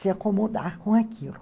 se acomodar com aquilo.